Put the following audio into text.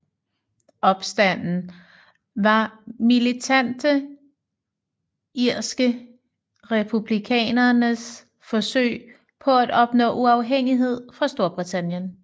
Opstanden var militante irske republikaneres forsøg på at opnå uafhængighed fra Storbritannien